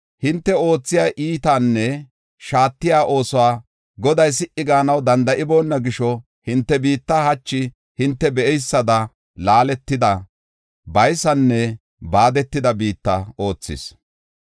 Hinte oothiya iitanne shaatiya oosuwa Goday si77i gaanaw danda7iboona gisho, hinte biitta hachi hinte be7eysada laaletida, baysanne baadetida biitta oothis.